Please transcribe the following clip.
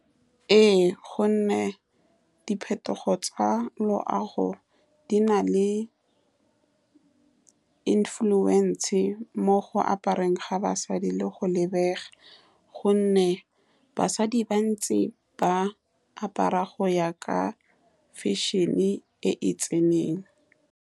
Ee, ka gonne diphetogo tsa loago di na le influence mo go apareng ga basadi le go lebega, ka gonne basadi ba ntse ba apara go ya ka fashion-e e e tseneng.